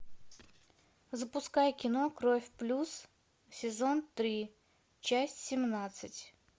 запускай кино кровь плюс сезон три часть семнадцать